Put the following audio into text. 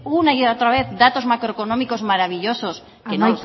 una y otra vez datos macroeconómicos maravillosos que no lo son tanto amaitzen joan